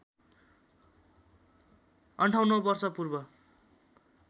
५८ वर्ष पूर्व